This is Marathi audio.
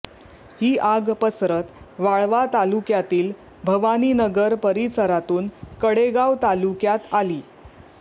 ही आग पसरत वाळवा तालुक्यातील भवानीनगर परिसरातून कडेगाव तालुक्यात आली